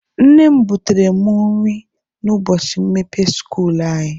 Nne m butere mụ nri n'ubọchị mmepe skuulu anyị.